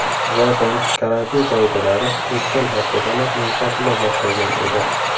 Zotan, karantin qoidalari o‘tgan haftadanoq yumshatila boshlagan edi.